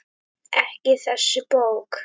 Ekki þessi bók.